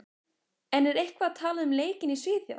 En er eitthvað talað um leikinn í Svíþjóð?